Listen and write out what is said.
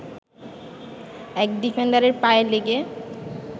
এক ডিফেন্ডারের পায়ে লেগে